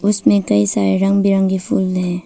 उसमें कई सारे रंग बिरंगी फूल है।